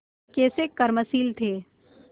कैसे कर्मशील थे